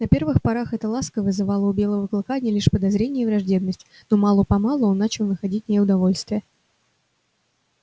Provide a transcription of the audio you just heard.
на первых порах эта ласка вызывала у белого клыка одни лишь подозрения и враждебность но мало помалу он начал находить в ней удовольствие